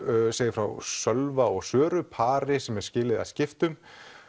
segir frá Sölva og Söru pari sem er skilið að skiptum